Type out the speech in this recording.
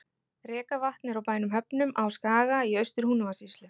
Rekavatn er á bænum Höfnum á Skaga í Austur-Húnavatnssýslu.